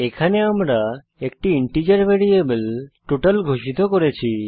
এখানে আমরা একটি ইন্টিজার ভ্যারিয়েবল টোটাল ঘোষিত করেছি